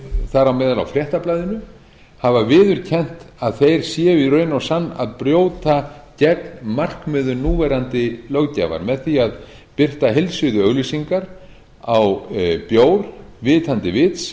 þar á meðal á fréttablaðinu hafa viðurkennt að þeir séu í raun og sann að brjóta gegn markmiðum núverandi löggjafar með því að birta heilsíðuauglýsingar á bjór vitandi vits